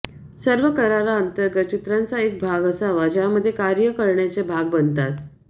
सर्व करारांतर्गत चित्रांचा एक भाग असावा ज्यामध्ये कार्य करण्याचे भाग बनतात